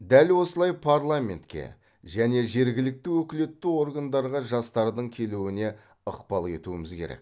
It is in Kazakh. дәл осылай парламентке және жергілікті өкілетті органдарға жастардың келуіне ықпал етуіміз керек